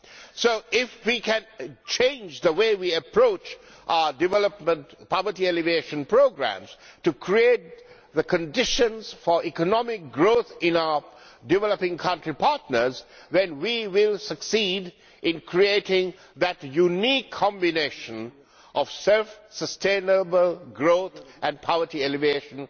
So if we can change the way we approach our development poverty elimination programmes to create the conditions for economic growth in our developing country partners, we will succeed in creating that unique combination of self sustainable growth and poverty elimination.